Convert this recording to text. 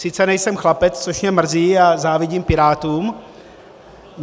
Sice nejsem chlapec, což mě mrzí, a závidím pirátům.